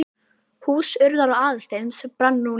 Hús Urðar og Aðalsteins brann nú líka.